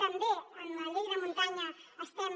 també en la llei de muntanya estem